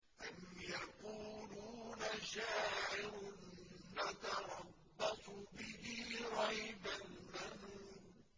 أَمْ يَقُولُونَ شَاعِرٌ نَّتَرَبَّصُ بِهِ رَيْبَ الْمَنُونِ